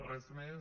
res més